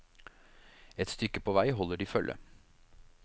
Et stykke på vei holder de følge.